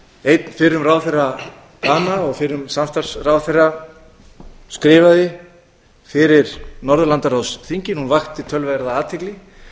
einn fyrrum ráðherra dana og fyrrum samstarfsráðherra skrifaði fyrir norðurlandaráðsþingið hún vakti töluverða athygli